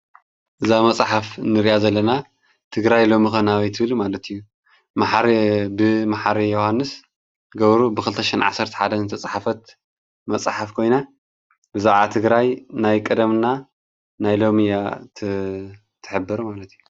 እዛ መፅሓፍ እንሪኣ ዘለና ትግራይ ሎሚኸ ናበይ ትብል ማለት እዩ። ብ መሓሪ ዮውሃንስ ገብሩ ብ ክልተሸሕን ዓሰርተ ሓደን ዝተፅሓፈት መፅሓፍ ኾይና ብዛዕባ ትግራይ ናይ ቀደም እና ናይ ሎሚ እያ ትሕብር ማለት እዩ።